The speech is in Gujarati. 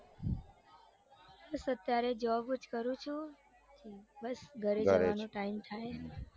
અત્યારે જોબ જ કરું છું બસ ઘરે જવાનો time થાય